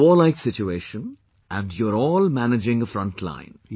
This is a warlike situation and you all are managing a frontline